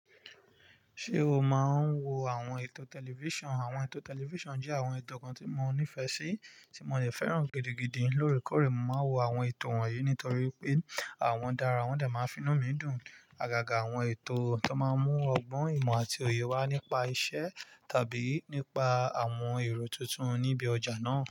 Ṣé o máa ń wo àwọn ètò tẹlifíṣàn? Àwọn ètò tẹlifíṣàn jẹ́ àwọn ètò kan tí mo nífẹ̀ẹ́ sí, tí mo lè fẹ́ràn gidigidi. Lórí kọ̀re, mo máa ń wo àwọn ètò wọ̀nyí nítorí pé wọn dára, wọ́n dè máa ń finú mi dùn. Agaga àwọn ètò tó máa ń mú ọgbọ́n, ìmọ̀ àti òye wá nípa iṣẹ́ tàbí nípa àwọn èrò tuntun níbi ọjà náà.